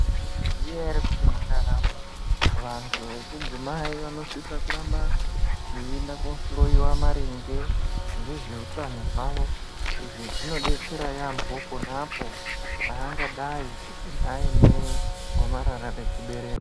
Maizviziya ere kuti mundaramo vantu vechidzimai vanosisa kuramba veienda kohloiwa maringe ngezveutano hwavo. Izvi zvinobetsera yaamho ponapo pangadai aine gomarara rechibereko.